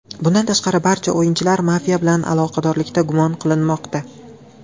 Bundan tashqari, barcha o‘yinchilar mafiya bilan aloqadorlikda gumon qilinmoqda.